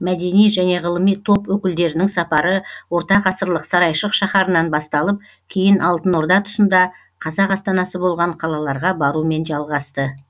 мәдени және ғылыми топ өкілдерінің сапары ортағасырлық сарайшық шаһарынан басталып кейін алтын орда тұсында қазақ астанасы болған қалаларға барумен жалғасты